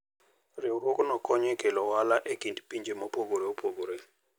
Riwruogno konyo e kelo ohala e kind pinje mopogore opogore.